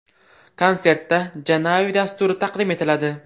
Konsertda Janavi dasturi taqdim etiladi.